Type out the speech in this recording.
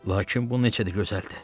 Lakin bu necə də gözəldir.